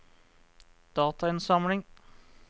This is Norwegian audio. datainnsamling